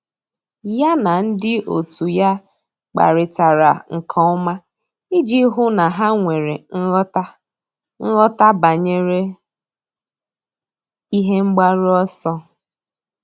Yá na ndị otu ya kparịtara nke ọma iji hụ́ na há nwere nghọta nghọta banyere ihe mgbaru ọsọ.